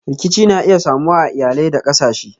Rikici na iya samuwa a iyalai da kasashe.